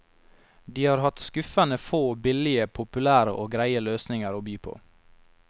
De har hatt skuffende få billige, populære og greie løsninger å by på.